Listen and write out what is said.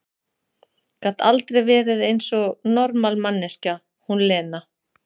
Gat aldrei verið eins og normal manneskja, hún Lena!